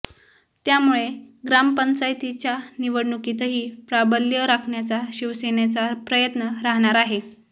त्यामुळे ग्रामपंचायतींच्या निवडणुकीतही प्राबल्य राखण्याचा शिवसेनेचा प्रयत्न राहणार आहे